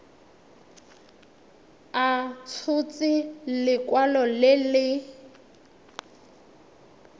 a tshotse lekwalo le le